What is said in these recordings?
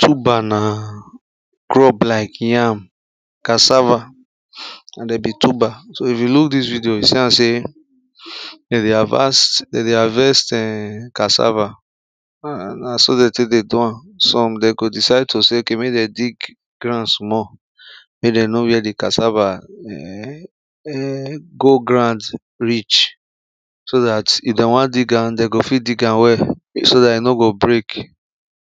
tubber na crop like yam, cassava and de be tubber so, if you look this video, you see am say they de harvast them dey harvest cassava, na so de take de do am some, de go decide to say okay make them dig ground small make them know where the cassava go ground reach so that if them wan dig am, they go fit dig am well so that e no go break,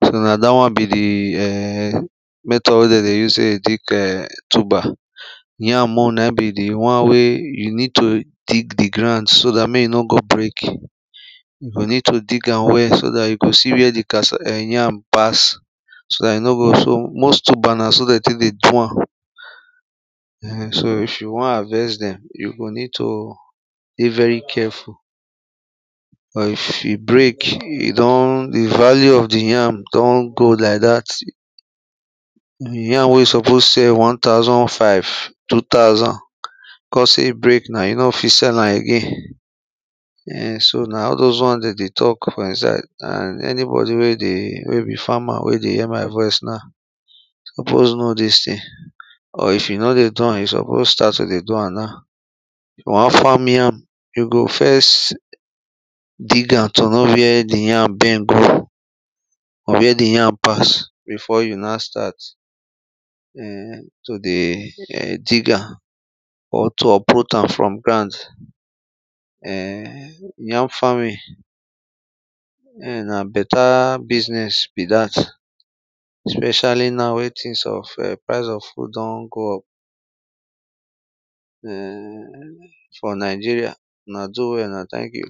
so na that one be the um method wey they de use take dig um tubber yam own na e be the one where you need to dig the ground so that make e no go break you go need to dig am well so that you go see where de cassa um yam pass so that e no go so, most tubber na so they take de do am um so if you want harvest them you go need to de very careful cause for if e break e don, the value of the yam don go like that the yam wey you suppose sell one thousand five two thousand cause if break now, you no go fit sell am again. um so na all those one dey de talk for insaid and anybody wey dey, wey be farmer wey de hear my voice now suppose know this thing. or if you no de do am, you suppose start to de do am now. if you want farm yam, you go first, dig am to know where de yam bend go or where the yam pass before you now start um to de um dig am or to uproot am from ground. um yam farming um na better business be that especially now wey things of um price of food don go up um for Nigeria. una do well, una thank you.